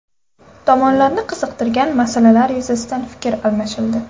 Tomonlarni qiziqtirgan masalalar yuzasidan fikr almashildi.